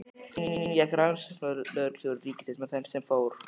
Inn gekk rannsóknarlögreglustjóri ríkisins með þann sem fór.